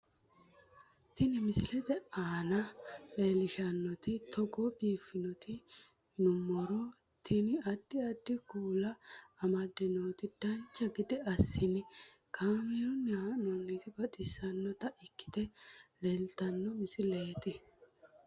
Tini misile maa leellishshannote togo biiffinoti yinummoro tini. addi addi kuula amadde nooti dancha gede assine kaamerunni haa'noonniti baxissannota ikkite leeltanno misileeti